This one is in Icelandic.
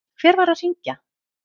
Hver var að hringja?